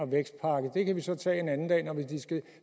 vækstpakke det kan vi så tage en anden dag når vi